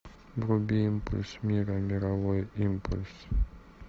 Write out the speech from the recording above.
вруби импульс мира мировой импульс